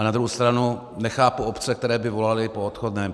A na druhou stranu nechápu obce, které by volaly po odchodném.